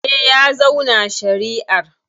Eh, ya zauna shari'ar.